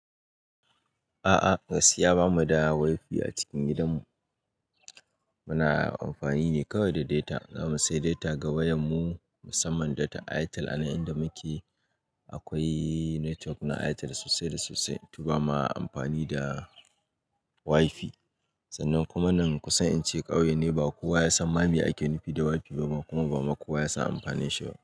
A'a, gaskiya bamu da wi-fi a cikin gidanmu. Muna amfani ne kawai da data. Za mu sayi data ga wayar mu musamman data Airtel a inda muke akwai network na Airtel sosai da sosai to bama amfani da wi-fi. Sannan kuma nan kusa in ce ƙauye ne, ba kowa ya san ma me ake nufi da wi-fi ba kuma ba ma kowa ya san amfanin shi ba.